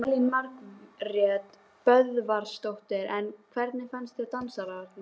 Elín Margrét Böðvarsdóttir: En hvernig fannst þér dansararnir?